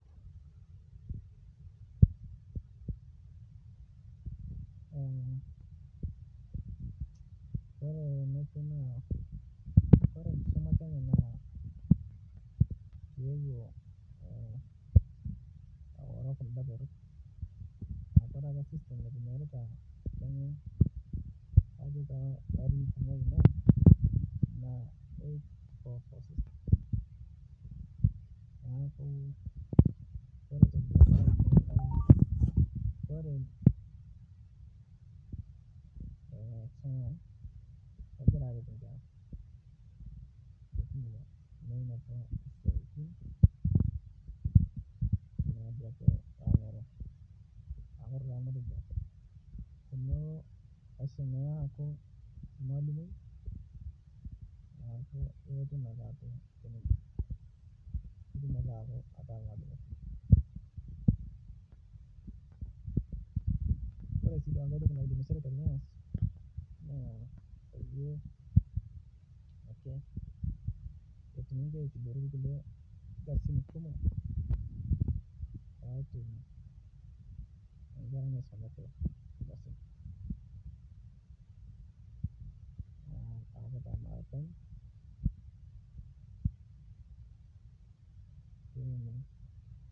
oree enkisuma e Kenya naa megira aret inkera menoto isiaitin nanare ore ena kisuma naisumi tesukul na 8.4.4 system nemegira aret inkera pii amu metumito inkera enkisuma nanare amu meeta skills naigirai aisum kuna kera tesukul ore entoki naidim sirikali ataasa na keifaa peibelekeny system enkisuma na peepikii nkisumaritin naaret nkeraa too nkatitin naaponu baadaye oree sii keyiu sirkali neitijingunu inkosii naaret imkera